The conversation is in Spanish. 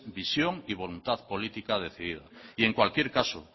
visión y voluntad política decidida y en cualquier caso